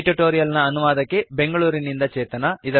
ಈ ಟ್ಯುಟೋರಿಯಲ್ ನ ಅನುವಾದಕಿಬೆಂಗಳೂರಿನಿಂದ ಚೇತನಾ